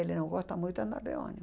Ele não gosta muito de andar de ônibus.